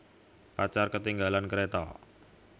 Pacar Ketinggalan Kereta